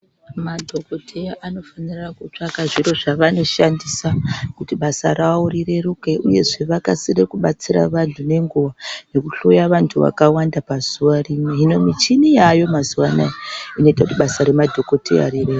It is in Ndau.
Madhokodheya anofanira kutsvaka zviro zvavanoshandisa kuti basa ravo rireruke, uyezve vakasire kubatsira vanthu ngenguva, nekuhloya vanthu vakawanda pazuwa rimwe. Hino michini yaayo mazuwa anaya ,inoite kuti basa remadhokodheya rireruke.